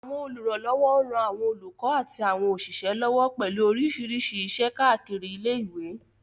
Àwọn olùrànlọ́wọ́ ń ran àwọn olùkọ́ àti àwọn òṣìṣẹ́ lọ́wọ́ pẹ̀lú oríṣiríṣi iṣẹ́ káàkiri ilé ìwé